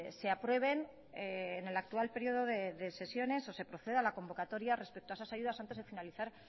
se aprueben en el actual periodo de sesiones o se proceda a la convocatoria respecto a esas ayudas antes de finalizar